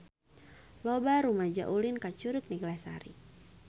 Loba rumaja ulin ka Curug Neglasari